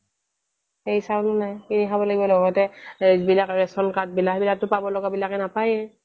এই চাউলও নাই কিনি খাব লাগিব লগতে সেইবিলাক ৰেচন card বিলাক ইয়াত তো পাব লগা বিলাকে নাপায়েই